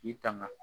K'i tanga